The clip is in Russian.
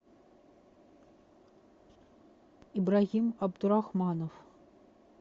ибрагим абдурахманов